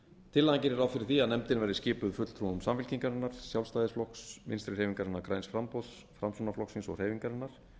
tillagan gerir ráð fyrir því að nefndin verði skipuð fulltrúum samfylkingarinnar sjálfstæðisflokks vinstri hreyfingarinnar græns framboðs framsóknarflokksins og hreyfingarinnar